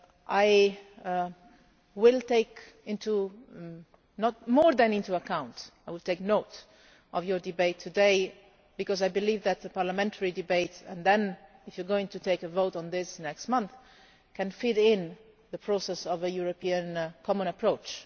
I will not just take into account but I will take note of your debate today, because I believe that the parliamentary debates and then if you are going to take a vote on this next month can fit into the process of a European common approach.